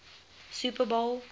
super bowl